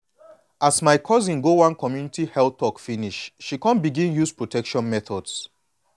as my cousin go one community health talk finish she come begin use protection methods.